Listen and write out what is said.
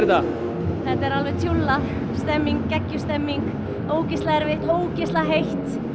alveg tjúllað geggjuð stemming ógeðslega erfitt og ógeðslega heitt